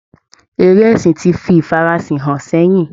Eré ẹ̀sìn ti fi ifara sìn hàn sẹ́yìn